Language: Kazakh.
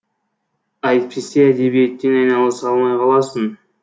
әйтпесе әдебиетпен айналыса алмай қаласың